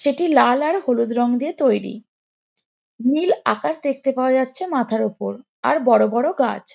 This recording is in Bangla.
সেটি লাল আর হলুদ রং দিয়ে তৈরী নীল আকাশ দেখতে পাওয়া যাচ্ছে মাথার ওপর আর বড়ো বড়ো গাছ ।